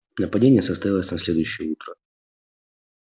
нападение состоялось на следующее утро